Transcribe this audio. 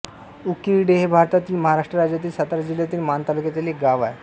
उकिरडे हे भारतातील महाराष्ट्र राज्यातील सातारा जिल्ह्यातील माण तालुक्यातील एक गाव आहे